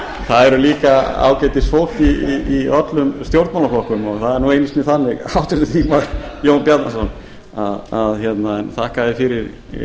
það er líka ágætisfólk í öllum stjórnmálaflokkum og það er nú einu sinni þannig háttvirtur þingmaður jón bjarnason en þakka þér fyrir